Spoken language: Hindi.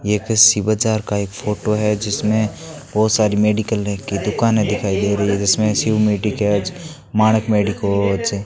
ये किसी बाजार का एक फोटो है जिसमें बहुत सारी मेडिकल की दुकानें दिखाई दे रही है जिसमें शिव मेडिकेज है मानक मेडिकोज --